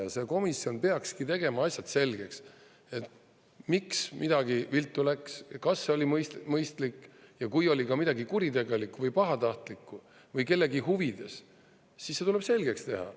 Ja see komisjon peakski tegema asjad selgeks, et miks midagi viltu läks, kas see oli mõistlik, ja kui oli ka midagi kuritegelikku või pahatahtlikku või kellegi huvides, siis see tuleb selgeks teha.